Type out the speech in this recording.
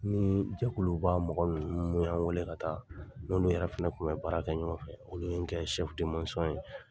Nin jɛkuluba mɔgɔ mun y'an wele ka taa, n n'olu yɛrɛ fɛnɛ kun bɛ baara kɛ ɲɔgɔn fɛ. Olu ye n kɛ de masɔn ye.